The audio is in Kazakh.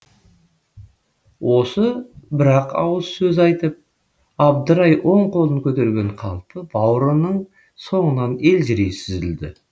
осы бір ақ ауыз сөз айтып абдырай оң қолын көтерген қалпы бауырының соңынан елжірей сүзілді